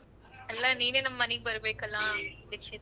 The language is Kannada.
ಅಲ್ಲ ನೀನೆ ನಮ್ ಮನಿಗ್ ಬರ್ಬೇಕಲ್ಲ ದೀಕ್ಷಿತ.